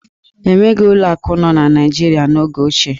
E nweghi ụlọ akụ nọ n'Naịjirịa n'oge ochie.